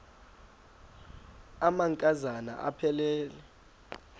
amanka zana aphilele